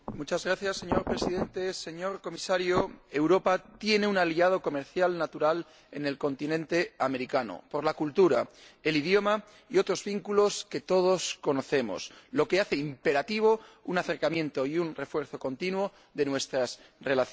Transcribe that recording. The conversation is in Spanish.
Señor Presidente, señor Comisario, Europa tiene un aliado comercial natural en el continente americano por la cultura, el idioma y otros vínculos que todos conocemos, lo que hace imperativo un acercamiento y un refuerzo continuo de nuestras relaciones.